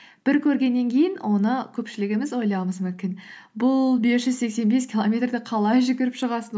бір көргеннен кейін оны көпшілігіміз ойлауымыз мүмкін бұл бес жүз сексен бес километрді қалай жүгіріп шығасың